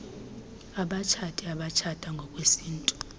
abatshati abatshata ngokwesintu